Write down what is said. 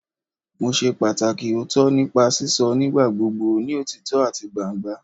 Mo ṣe pataki ooto nipa sisọ nigbagbogbo ni otitọ ati gbangba